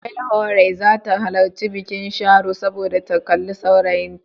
Welhore za ta halarci bikin Sharo domin ta kalli saurayinta.